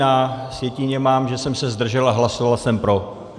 Na sjetině mám, že jsem se zdržel, a hlasoval jsem pro.